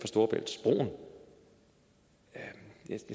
storebæltsbroen jeg